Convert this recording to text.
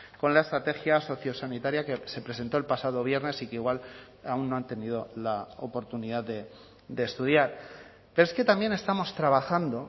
con la estrategia sociosanitaria que se presentó el pasado viernes y que igual aún no han tenido la oportunidad de estudiar pero es que también estamos trabajando